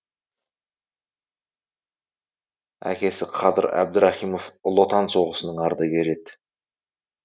әкесі қадыр әбдірахимов ұлы отан соғысының ардагері еді